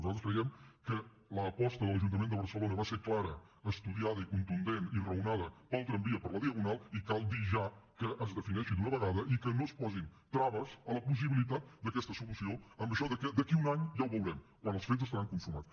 nosaltres creiem que l’aposta de l’ajuntament de barcelona va ser clara estudiada i contundent i raonada pel tramvia per la diagonal i cal dir ja que es defineixi d’una vegada i que no es posin traves a la possibilitat d’aquesta solució amb això que d’aquí a un any ja ho veurem quan els fets estaran consumats